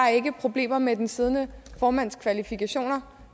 problemer med den siddende formands kvalifikationer